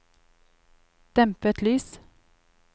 dempet lys